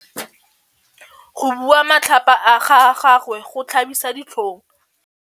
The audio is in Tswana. Go bua matlhapa ga gagwe go tlhabisa ditlhong.